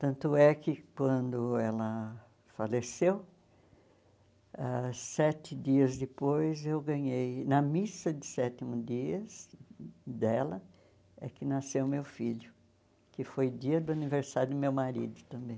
Tanto é que quando ela faleceu, ãh sete dias depois eu ganhei, na missa de sétimo dias dela, é que nasceu meu filho, que foi dia do aniversário do meu marido também.